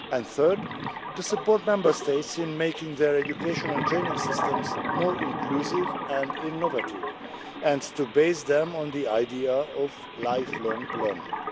Thirdly, to support Member States in making their education and training systems more inclusive and innovative and to base them on the idea of lifelong learning.